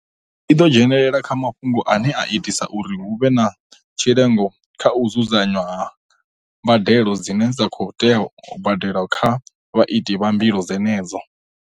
I ḓo dzhenelela kha mafhungo ane a itisa uri hu vhe na tshi lengo kha u dzudzanywa ha mbadelo dzine dza khou tea u badelwa kha vhaiti vha mbilo dzenedzo.